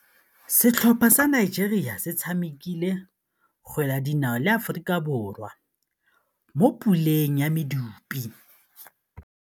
Setlhopha sa Nigeria se tshamekile kgwele ya dinaô le Aforika Borwa mo puleng ya medupe.